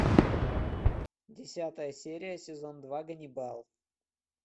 десятая серия сезон два ганнибал